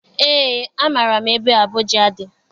Eé amaara m ebe Abuja dị.